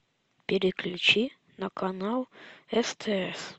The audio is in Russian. переключи на канал стс